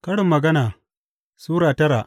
Karin Magana Sura tara